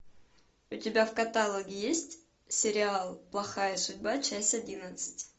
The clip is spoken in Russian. у тебя в каталоге есть сериал плохая судьба часть одиннадцать